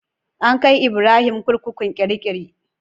An kai Ibrahim kurkukun kirikiri.